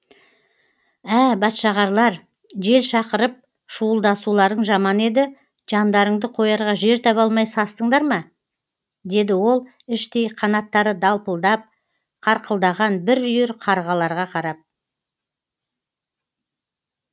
ә бәтшағарлар жел шақырып шуылдасуларың жаман еді жандарыңды қоярға жер таба алмай састыңдар ма деді ол іштей қанаттары далпылдап қарқылдаған бір үйір қарғаларға қарап